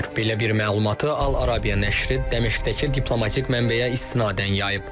Belə bir məlumatı Al-Arabia nəşri Dəməşqdəki diplomatik mənbəyə istinadən yayıb.